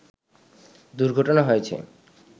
দুর্ঘটনা হয়েছে